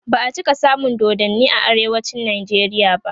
ba'a cika samun dodanni a arewacin nijeriya ba